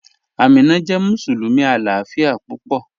Ámínà jẹ́ musulumi aláàfíà púpọ̀